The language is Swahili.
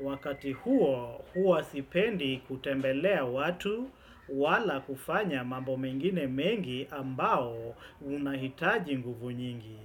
Wakati huo, huwa sipendi kutembelea watu wala kufanya mambo mengine mengi ambao unahitaji nguvu nyingi.